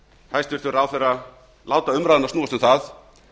hæstvirtur ráðherra láta umræðuna snúast um það